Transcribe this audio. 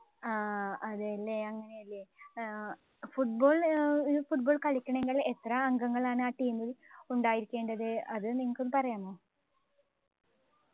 V ആഹ് അതല്ലേ football നു football കളിക്കണമെങ്കിൽ എത്ര അംഗങ്ങളാണ് ആ ടീമിൽ ഉണ്ടായിരിക്കേണ്ടത് അത് നിങ്ങൾക്ക് ഒന്നു പറയാമോ